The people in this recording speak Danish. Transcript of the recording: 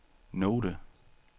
note